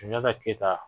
Sunjata keyita